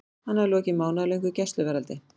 Hann hafði lokið mánaðarlöngu gæsluvarðhaldi.